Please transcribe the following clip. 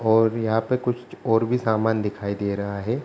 और यहाँ पे कुछ और भी सामान दिखाई दे रहा है।